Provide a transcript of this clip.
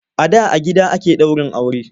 A da a gida ake daurin aure.